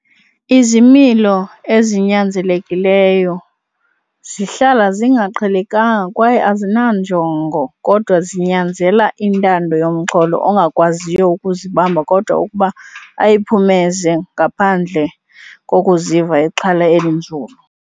Izimilo ezinyanzelekileyo zihlala zingaqhelekanga kwaye azinanjongo kodwa zinyanzela intando yomxholo ongakwaziyo ukuzibamba kodwa ukuba ayiphumeze ngaphandle kokuziva ixhala elinzulu.